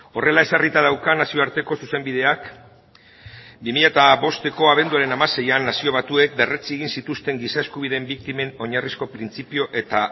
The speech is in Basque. horrela ezarrita dauka nazioarteko zuzenbideak bi mila bosteko abenduaren hamaseian nazio batuek berretsi egin zituzten giza eskubideen biktimen oinarrizko printzipio eta